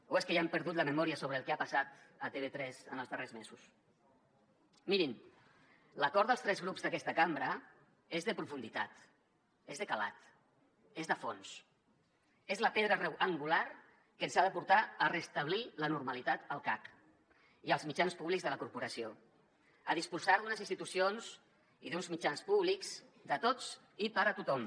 o és que ja han perdut la memòria sobre el que ha passat a tv3 en els darrers mesos mirin l’acord dels tres grups d’aquesta cambra és de profunditat és de calat és de fons és la pedra angular que ens ha de portar a restablir la normalitat al cac i als mitjans públics de la corporació a disposar d’unes institucions i d’uns mitjans públics de tots i per a tothom